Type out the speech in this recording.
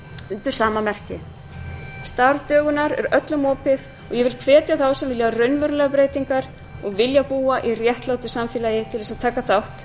undir sama merki starf dögunar er öllum opið og ég hvet þá sem vilja raunverulegar breytingar og vilja búa í réttlátu samfélagi til að taka þátt